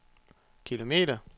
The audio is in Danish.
kilometer